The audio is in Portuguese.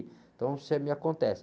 Então, se, eh, me acontece.